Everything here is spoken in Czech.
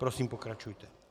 Prosím, pokračujte.